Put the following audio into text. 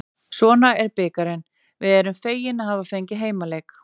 Svona er bikarinn, við erum fegin að hafa fengið heimaleik.